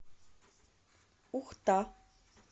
ухта